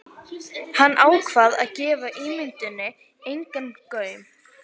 Hann ákvað að gefa ímynduninni engan gaum.